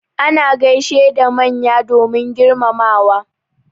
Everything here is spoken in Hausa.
Ana gaishe da manya domin girmamawa.